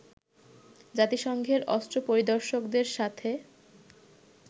জাতিসংঘের অস্ত্র পরিদর্শকদের সাথে